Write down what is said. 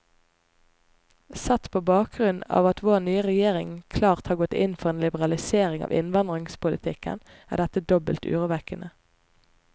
Sett på bakgrunn av at vår nye regjering klart har gått inn for en liberalisering av innvandringspolitikken, er dette dobbelt urovekkende.